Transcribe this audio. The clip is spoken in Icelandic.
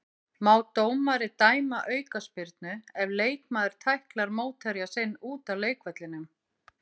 Má dómari dæma aukaspyrnu ef leikmaður tæklar mótherja sinn út af leikvellinum?